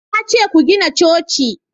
na ce ku gina coci!